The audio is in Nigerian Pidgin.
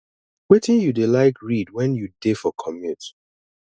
wetin you dey like read when you dey for commute